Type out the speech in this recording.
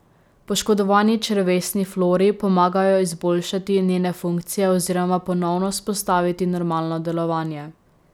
Poškodovani črevesni flori pomagajo izboljšati njene funkcije oziroma ponovno vzpostaviti normalno delovanje.